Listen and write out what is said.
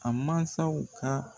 A mansaw ka